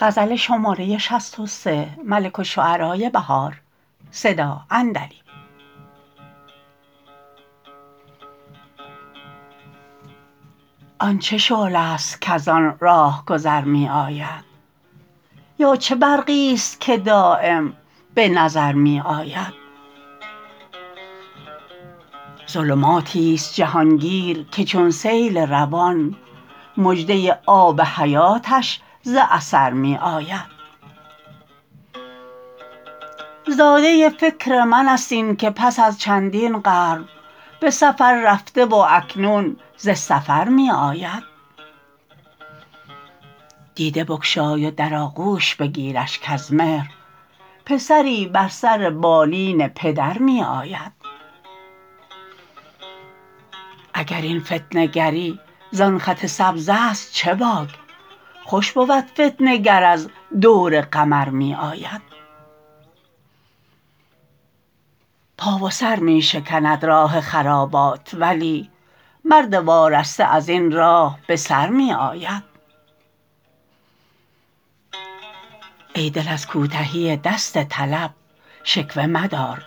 آن چه شعله است کزان راهگذار می آید یا چه برقیست که دایم به نظر می آید ظلماتیست جهانگیرکه چون سیل روان مژده آب حیاتش ز اثر می آید زاده فکر من است این که پس از چندین قرن به سفررفته و اکنون زسفر می آید دیده بگشای و در آغوش بگیرش کز مهر پسری بر سر بالین پدر می آید اگر این فتنه گری زان خط سبز است چه باک خوش بود فتنه گر از دور قمر می آید پا و سر می شکند راه خرابات ولی مرد وارسته ازبن راه بسر می آید ای دل از کو تهی دست طلب شکوه مدار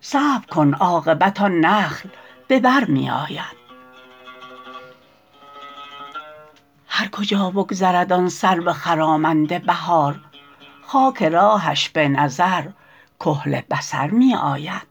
صبرکن عاقبت آن نخل به بر می آید هرکجا بگذرد آن سرو خرامنده بهار خاک راهش به نظرکحل بصر می آید